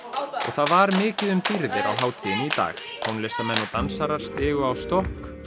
var mikið um dýrðir á hátíðinni í dag tónlistarmenn og dansarar stigu á stokk